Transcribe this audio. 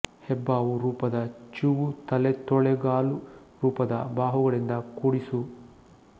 ಹೆಬ್ಬಾವು ರೂಪದ ಚೂವು ತಲೆ ತೊಳೆಗಾಲು ರೂಪದ ಬಾಹುಗಳಿಂದ ಕೂಡಿ ಸು